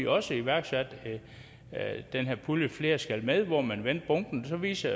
også iværksat den her pulje flere skal med hvor man vendte bunken og så viste